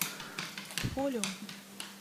фолиум